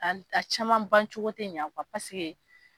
a caman bancogo tɛ ɲa pasike